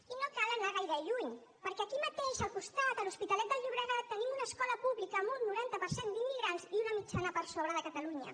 i no cal anar gaire lluny perquè aquí mateix al costat a l’hospitalet del llobregat tenim una escola pública amb un noranta per cent d’immigrants i una mitjana per sobre de catalunya